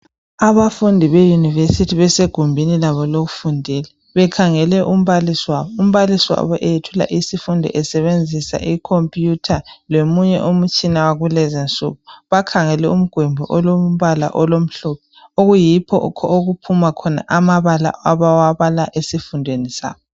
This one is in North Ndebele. Abafundi base university basegumbini labo lokufundela bekhangele umbalisi wabo umbalisi wabo eyethula isifundo esebenzisa icomputer lomunye umtshina wakulezi insuku bakhangele umgwembi wakulezi insuku oyikho okuphuma khona amabala abawabala esifundweni sabo